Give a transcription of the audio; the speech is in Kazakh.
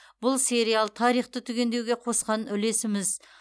бұл сериал тарихты түгендеуге қосқан үлесіміз